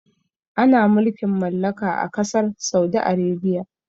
Ana mulkin mallaka ã kasar Saudi Arabia.